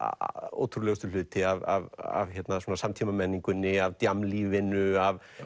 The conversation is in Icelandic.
ótrúlegustu hluti af svona samtímamenningunni af